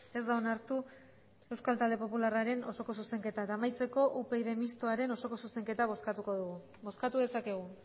ez da onartu euskal talde popularraren osoko zuzenketa eta amaitzeko upyd mistoaren osoko zuzenketa bozkatuko dugu bozkatu dezakegu